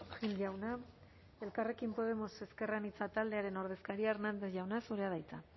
gil jauna elkarrekin podemos ezker anitza taldearen ordezkaria hernández jauna zurea da hitza